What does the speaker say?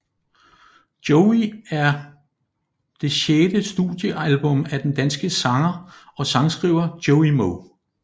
Joey er et det sjette studiealbum af den danske sanger og sangskriver Joey Moe